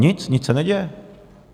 Nic, nic se neděje.